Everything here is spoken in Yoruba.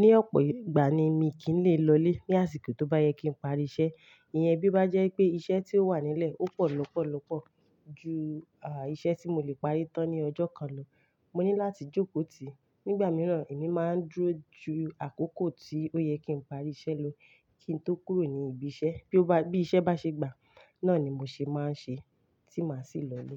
ní ọ̀pọ̀ ìgbà ni mi kì í lè lọlé ní àsìkò tó bá yẹ kí n parí iṣẹ́. Iyẹn bí o bá jẹ́ pé iṣẹ́ tí ó wà nílẹ̀ ó pọ̀ lọ́pọ̀lọpọ̀ ju, à, iṣẹ́ tí mo lè parí tán ní ọjọ́ kan lọ, mo ní láti jókòó tì. Nígbà mìíràn, èmi máa ń dúró ju àkókò tí ó yẹ kí n parí iṣẹ́ lọ kí n tó kúrò ní ibi iṣẹ́. Bí ó bá, bí iṣẹ́ bá ṣe gbà, náà ni mo ṣe máa ń ṣe tí màá sì lọ lé.